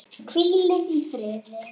Hvílið í friði.